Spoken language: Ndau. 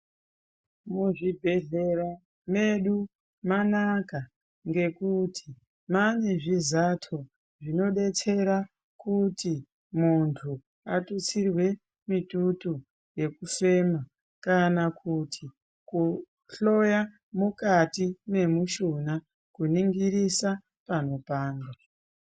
Muzvibhehlera medu manaka ngekuti mane mane zvizato zvinodetsera kuti mundu atutsirwe mututu wekufema kana kuti kuhloya mukati memushuna kuningirisa panopanda